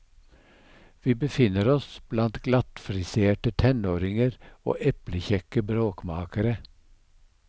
Vi befinner oss blant glattfriserte tenåringer og eplekjekke bråkmakere.